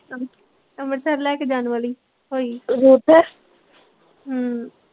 ਅੰਮ੍ਰਿਤਸਰ ਲੈ ਕੇ ਜਾਣ ਵਾਲੀ ਹੋਈ ਹਮ